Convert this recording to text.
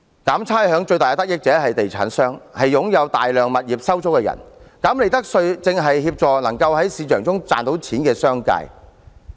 減差餉最大的得益者是地產商及擁有大量物業收租的人，減利得稅正是協助能在市場中賺到錢的商界。